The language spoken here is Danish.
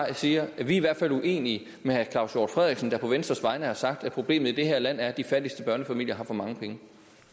jeg siger at vi i hvert fald er uenige med herre claus hjort frederiksen der på venstres vegne har sagt at problemet i det her land er at de fattigste børnefamilier har for mange penge